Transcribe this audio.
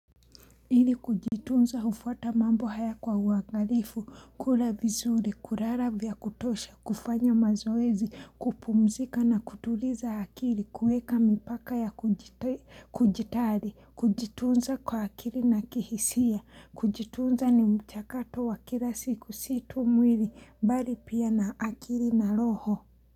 Ili kujitunza hufuata mambo haya kwa uangarifu, kula vizuri, kurara vya kutosha, kufanya mazoezi, kupumzika na kutuliza akili, kueka mipaka ya kujitari, kujitunza kwa akili na kihisia, kujitunza ni mchakato wa kila siku situ mwili, bali pia na akili na loho.